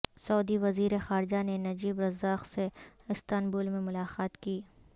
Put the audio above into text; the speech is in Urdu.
سعودی وزیر خارجہ نے نجیب رزاق سے استنبول میں ملاقات کی